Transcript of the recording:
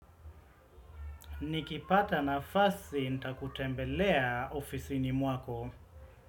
Nikipata nafasi nitakutembelea ofisini mwako.